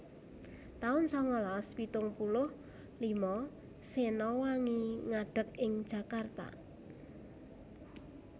taun sangalas pitung puluh lima Sena Wangi ngadeg ing Jakarta